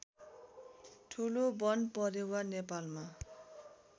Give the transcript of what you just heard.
ठुलो वनपरेवा नेपालमा